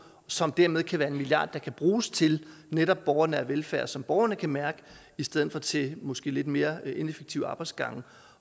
som dermed kan være en milliard der kan bruges til netop borgernær velfærd som borgerne kan mærke i stedet for til måske lidt mere ineffektive arbejdsgange